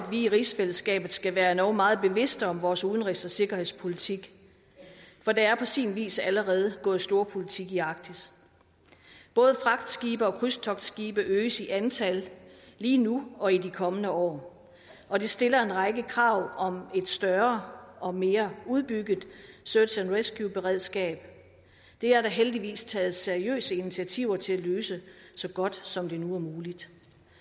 vi i rigsfællesskabet skal være endog meget bevidste om vores udenrigs og sikkerhedspolitik for der er på sin vis allerede gået storpolitik i arktis både fragtskibe og krydstogtskibe øges i antal lige nu og i de kommende år og det stiller en række krav om et større og mere udbygget search and rescue beredskab det er der heldigvis taget seriøse initiativer til at løse så godt som det nu er muligt